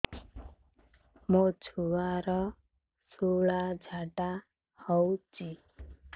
ମୋ ଛୁଆର ସୁଳା ଝାଡ଼ା ହଉଚି